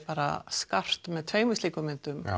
skarpt með tveimur slíkum myndum